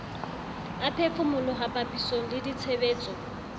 a phefomoloho papisong le ditshebetso